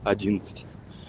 одиннадцать